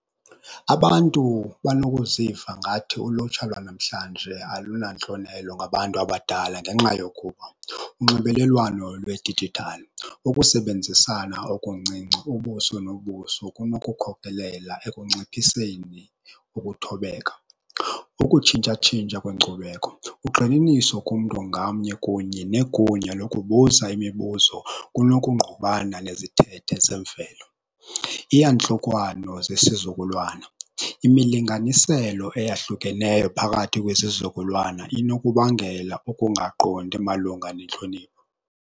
Abantu banokuziva ngathi ulutsha lwanamhlanje alunantlonelo ngabantu abadala ngenxa yokuba, unxibelelwano lwedijithali, ukusebenzisana okuncinci ubuso nobuso kunokukhokhelela ekunciphiseni ukuthobeka. Ukutshintsha-tshintsha kweenkcubeko, ugxininiso kumntu ngamnye kunye negunya lokubuza imibuzo kunokungqubana nezithethe zemvelo. Iyantlukwano zesizukulwana, imilinganiselo eyahlukeneyo phakathi kwezizukulwana inokubangela ukungaqondi malunga nentlonipho.